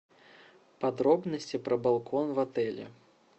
подробности про балкон в отеле